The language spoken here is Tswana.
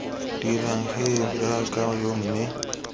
dirang gee jaaka yo mme